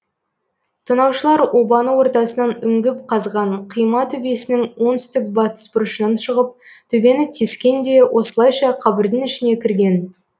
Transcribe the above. тонаушылар обаны ортасынан үңгіп қазған қима төбесінің оңтүстік батыс бұрышынан шығып төбені тескен де осылайша қабірдің ішіне кірген